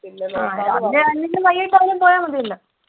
പിന്നെ